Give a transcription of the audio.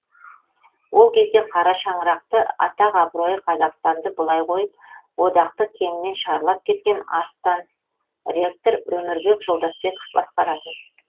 ол кезде қара шаңырақты атақ абыройы қазақстанды былай қойып одақты кеңінен шарлап кеткен арыстан ректор өмірбек жолдасбеков басқаратын